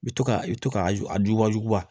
I bi to ka i bi to k'a a jugubajuba